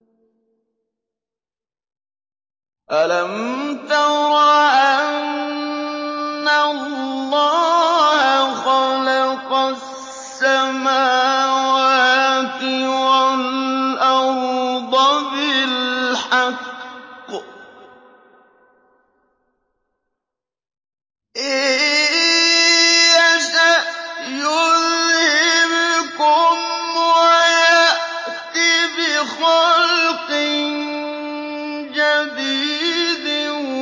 أَلَمْ تَرَ أَنَّ اللَّهَ خَلَقَ السَّمَاوَاتِ وَالْأَرْضَ بِالْحَقِّ ۚ إِن يَشَأْ يُذْهِبْكُمْ وَيَأْتِ بِخَلْقٍ جَدِيدٍ